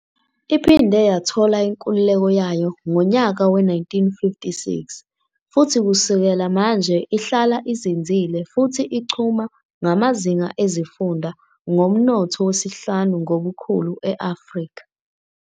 Iphinde yathola inkululeko yayo ngonyaka we-1956, futhi kusukela manje ihlala izinzile futhi ichuma ngamazinga ezifunda, ngomnotho wesihlanu ngobukhulu e-Afrika.